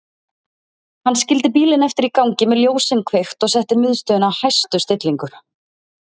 Hann skildi bílinn eftir í gangi með ljósin kveikt og setti miðstöðina á hæstu stillingu.